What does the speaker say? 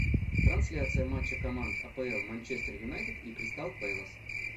трансляция матча команд апл манчестер юнайтед и кристал пэлас